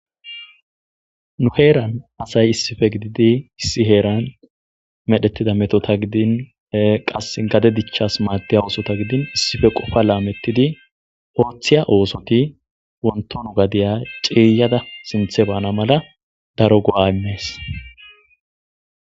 nu heeran asay issife gididi issi heeran medhetida metota gidin qas gade dichchas maadiya oosota gidin issife qofa laamettidi ooththiya oosoti wontonu gadiya cieyada sinthe baana mala daro go7aymees